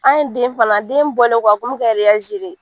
An ye den fana den bɔlen kɔ a kun mɛka de.